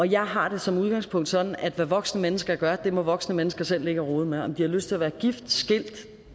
jeg har det som udgangspunkt sådan at hvad voksne mennesker gør må voksne mennesker selv ligge og rode med om de har lyst til at være gift